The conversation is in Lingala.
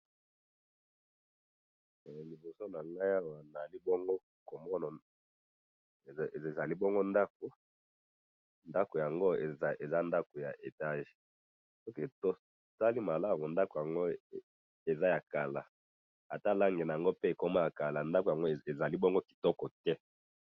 Eh! Liboso nangayi awa nazali bongo komona, ezali bongo ndako, ndako yango eza ndakonya etage, soki totali malamu ndako yango eza yakala, ata langi naango ekoma yakala, ndako yango azalibingo kitoko te.